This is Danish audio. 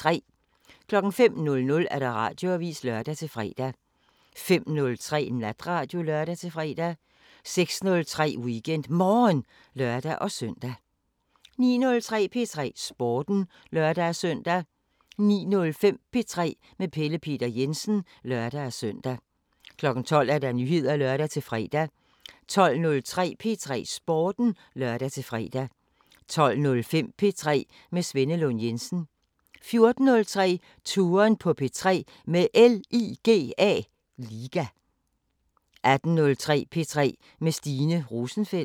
05:00: Radioavisen (lør-fre) 05:03: Natradio (lør-fre) 06:03: WeekendMorgen (lør-søn) 09:03: P3 Sporten (lør-søn) 09:05: P3 med Pelle Peter Jensen (lør-søn) 12:00: Nyheder (lør-fre) 12:03: P3 Sporten (lør-fre) 12:05: P3 med Svenne Lund Jensen 14:03: Touren på P3 med LIGA 18:03: P3 med Stine Rosenfeldt